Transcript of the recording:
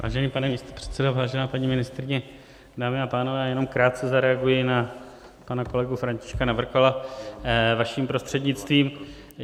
Vážený pane místopředsedo, vážená paní ministryně, dámy a pánové, já jenom krátce zareaguji na pana kolegu Františka Navrkala, vaším prostřednictvím.